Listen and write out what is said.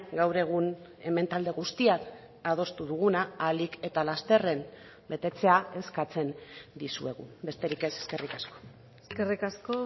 gaur egun hemen talde guztiak adostu duguna ahalik eta lasterren betetzea eskatzen dizuegu besterik ez eskerrik asko eskerrik asko